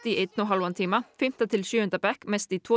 einn og hálfan tíma fimmta til sjöunda bekk mest tvo